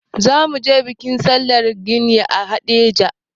Za mu je bikin sallar gani a Haɗeja.